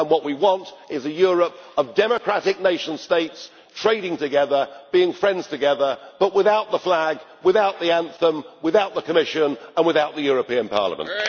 What we want is a Europe of democratic nation states, trading together, being friends together, but without the flag, without the anthem, without the Commission and without the European Parliament.